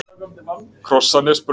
Krossanesbraut